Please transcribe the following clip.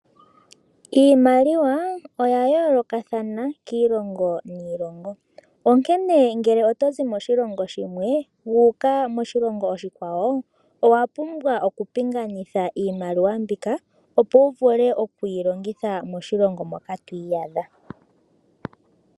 Iimaliwa oya yoolokathana kiilongo niilonga. Ngele oto zi moshilongo shimwe wu uka moshilongo oshikwa wo owa pumbwa okupingakanitha iimaliwa mbika opo wu vule oku yi longitha moshilongo moka twiiyadha.